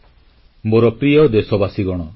• ବନ୍ୟା ବିଭୀଷିକାରୁ ବାହାରି କେରଳ ପୁଣି ଠିଆହେବ